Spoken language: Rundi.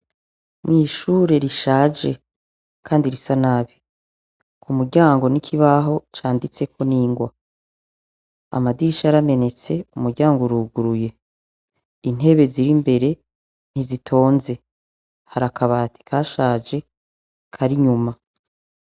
Mw'ishure rishaje, kandi risa nabi ku muryango nikibaho canditseko n'ingwa amadisha aramenetse umuryango uruguruye intebe ziri mbere ntizitonze hari akabati ka shaje karinyuma.